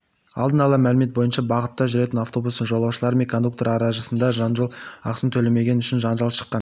алдын ала мәлімет бойынша бағытта жүретін автобустың жолаушылары мен кондуктор арасындажол ақысын төлемегені үшін жанжал шыққан